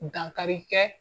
Dankari kɛ